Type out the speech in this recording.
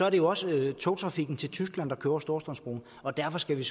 at det også er togtrafikken til tyskland der over storstrømsbroen og derfor skal vi